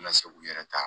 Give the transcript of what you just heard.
Na se k'u yɛrɛ ta